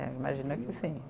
É, imagino que sim.